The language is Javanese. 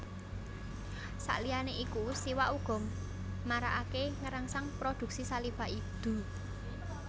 Sakliyané iku siwak uga marakaké ngrangsang produksi saliva idu